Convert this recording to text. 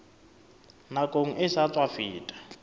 nakong e sa tswa feta